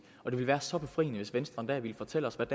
og det ville være så befriende hvis venstre en dag ville fortælle hvad